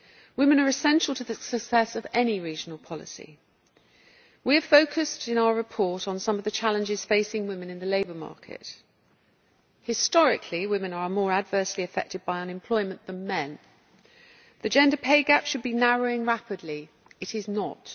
Women are essential to the success of any regional policy. We have focused in our report on some of the challenges facing women in the labour market. Historically, women are more adversely affected by unemployment than men. The gender pay gap should be narrowing rapidly, but it is not.